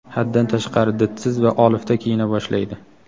haddan tashqari didsiz va olifta kiyina boshlaydi.